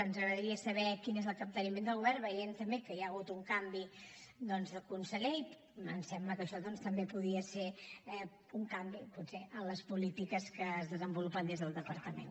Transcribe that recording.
ens agradaria saber quin és el capteniment del govern veient també que hi ha hagut un canvi doncs de conseller i ens sembla que això també podria ser un canvi potser en les polítiques que es desenvolupen des del departament